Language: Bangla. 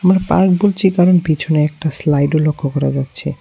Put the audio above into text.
মানে পার্ক বলছি কারণ পিছনে একটা স্লাইডও লক্ষ করা যাচ্ছে।